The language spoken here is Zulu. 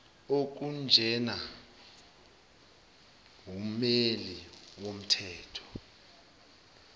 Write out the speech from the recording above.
okunjena wummeli womthetho